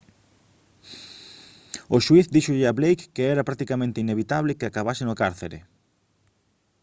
o xuíz díxolle a blake que era «practicamente inevitable» que acabase no cárcere